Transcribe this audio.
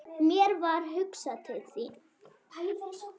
Mér varð hugsað til þín.